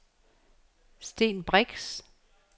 Sten Brix